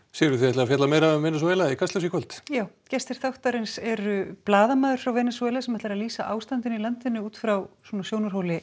Sigríður þið fjallið meira um Venesúela í Kastljósi í kvöld já gestir þáttarins eru blaðamaður frá Venesúela sem lýsir ástandinu í landinu út frá sjónarhóli